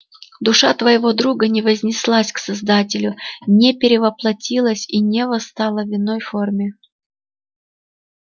душа твоего друга не вознеслась к создателю не перевоплотилась и не восстала в иной форме